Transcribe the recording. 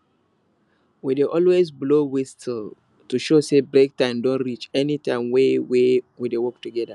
we dey always blow whistle to show say break time don reach anytime wey wey we dey work togeda